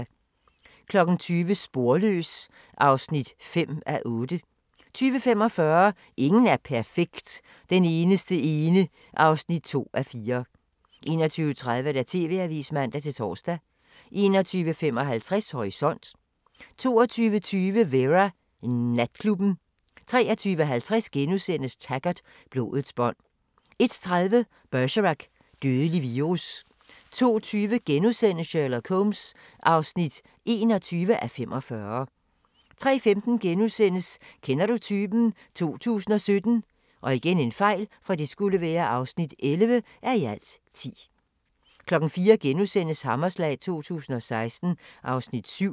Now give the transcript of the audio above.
20:00: Sporløs (5:8) 20:45: Ingen er perfekt – Den eneste ene (2:4) 21:30: TV-avisen (man-tor) 21:55: Horisont 22:20: Vera: Natklubben 23:50: Taggart: Blodets bånd * 01:30: Bergerac: Dødelig virus 02:20: Sherlock Holmes (21:45)* 03:15: Kender du typen? 2017 (11:10)* 04:00: Hammerslag 2016 (Afs. 7)*